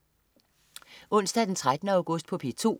Onsdag den 13. august - P2: